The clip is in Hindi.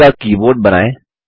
खुद का कीबोर्ड बनाएँ